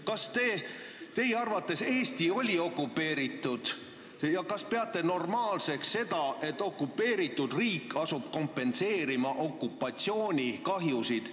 Kas teie arvates Eesti oli okupeeritud ja kas peate normaalseks seda, et okupeeritud riik asub kompenseerima okupatsioonikahjusid?